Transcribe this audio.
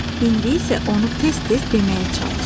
İndi isə onu tez-tez deməyə çalış.